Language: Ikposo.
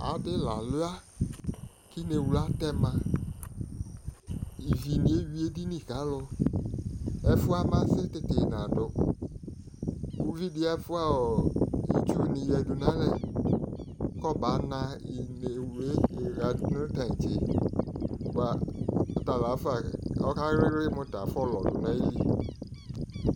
Adɩ la alua k'ineɣlu atɛma Ivinɩ eyui edini k'alʋ, ɛfʋ yɛ amasɛ tete nadʋ Uvidɩ afia ɔɔ itsunɩ yǝdu nalɛ k'aba na ineɣlu yɛ ɣa nʋ tantse bʋa talafa ɔka ɣlɩɣlɩ mʋ tɛ afɔlɔ dʋ n'ayili